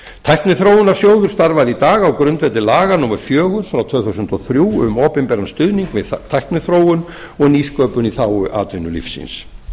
tækniþróunarsjóður starfar í dag á grundvelli laga númer fjögur tvö þúsund og þrjú um opinberan stuðning við tækniþróun og nýsköpun í þágu atvinnulífsins